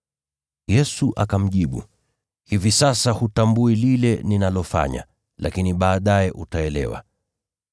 Yesu akamjibu, “Hivi sasa hutambui lile ninalofanya, lakini baadaye utaelewa.”